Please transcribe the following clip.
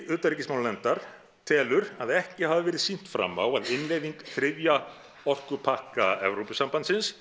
utanríkismálanefndar telur að ekki hafi verið sýnt fram á að innleiðing þriðja orkupakka Evrópusambandsins